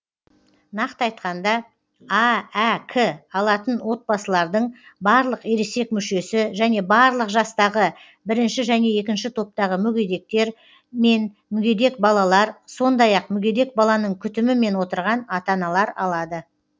нақты айтқанда аәк алатын отбасылардың барлық ересек мүшесі және барлық жастағы бірінші және екінші топтағы мүгедектер мен мүгедек балалар сондай ақ мүгедек баланың күтімімен отырған ата аналар алады